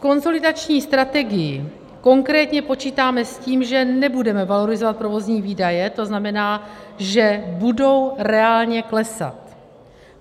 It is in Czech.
V konsolidační strategii konkrétně počítáme s tím, že nebudeme valorizovat provozní výdaje, to znamená, že budou reálně klesat.